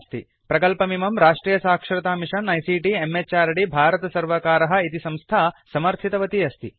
प्रकल्पमिमं राष्ट्रियसाक्षरतामिषन आईसीटी म्हृद् भारतसर्वकारः इत् संस्था समर्थितवती अस्ति